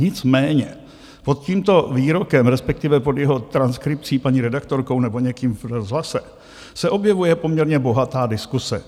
Nicméně pod tímto výrokem, respektive pod jeho transkripcí paní redaktorkou nebo někým v rozhlase, se objevuje poměrně bohatá diskuse.